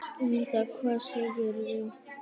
Linda: Hvað segirðu?